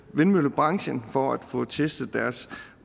vindmøllebranchen for at få testet deres